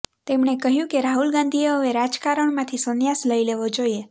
તેમણે કહ્યું કે રાહુલ ગાંધીએ હવે રાજકારણમાંથી સન્યાસ લઈ લેવો જોઈએ